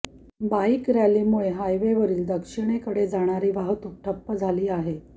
bike रॅलीमुळे हायवेवरील दक्षिणेकडे जाणारी वाहतूक ठप्प झाली आहे